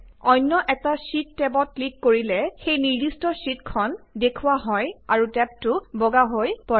অন্য এটা শ্বিট টেবত ক্লিক কৰিলে সেই নিৰ্দিষ্ট শ্বিটখন দৃশ্যায়িত হয় আৰু টেবটো বগা হৈ পৰে